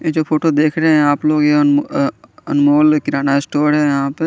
ये जो फोटो देख रहे है आप लोग ये अ अनमोल किराणा स्टोर है यहा पे।